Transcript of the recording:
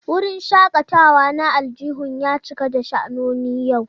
Wurin shakatawa na aljihun ya cika da sha'anoni yau.